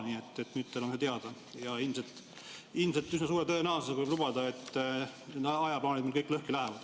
Nii et nüüd on teil see ka teada ja ilmselt üsna suure tõenäosusega võib lubada, et kõik ajaplaanid lõhki lähevad.